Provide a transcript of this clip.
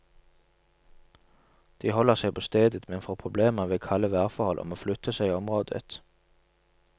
De holder seg på stedet, men får problemer ved kalde værforhold og må flytte seg i området.